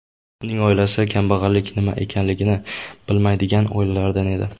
Uning oilasi kambag‘allik nima ekanligini bilmaydigan oilalardan edi.